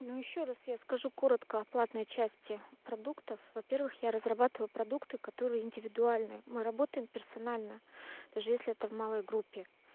ну ещё раз я скажу коротко о платной части продуктов во-первых я разрабатываю продукты которые индивидуальны мы работаем персонально даже если это в малой группе